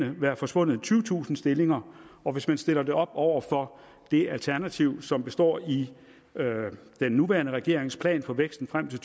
vil være forsvundet tyvetusind stillinger og hvis man stiller det op over for det alternativ som består i den nuværende regerings plan for væksten frem til